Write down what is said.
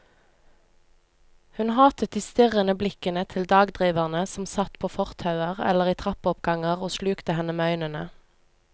Hun hatet de strirrende blikkende til dagdriverne som satt på fortauer eller i trappeoppganger og slukte henne med øynene.